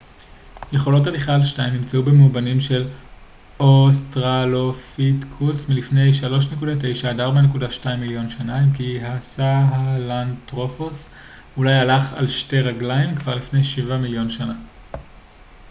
יכולות הליכה על שתיים נמצאו במאובנים של אוסטרלופיתקוס מלפני 3.9 - 4.2 מיליון שנה אם כי הסהלנתרופוס אולי הלך על שתי רגליים כבר לפני שבעה מיליון שנה